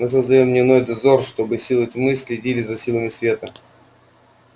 мы создаём дневной дозор чтобы силы тьмы следили за силами света